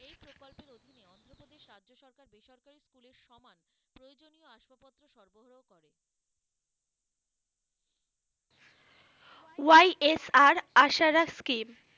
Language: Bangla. YSR Aasara scheme,